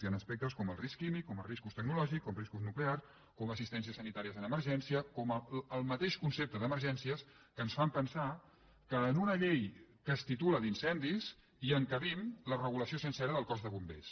hi han aspectes com el risc químic com els riscos tecnològics com riscos nuclears com assistències sanitàries en emergència com el mateix concepte d’emergències que ens fan pensar que en una llei que es titula d’incendis hi encabim la regulació sencera del cos de bombers